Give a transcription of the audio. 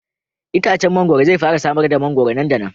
Itacen mangwaro zai fara samar da mangwaro nan da nan.